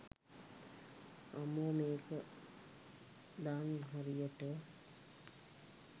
අම්මෝ මේක දන් හරියට